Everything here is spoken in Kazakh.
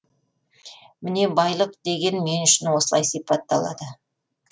міне байлық деген мен үшін осылай сипатталады